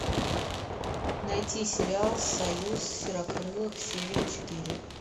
найти сериал союз серокрылых серия четыре